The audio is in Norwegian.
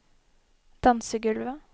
dansegulvet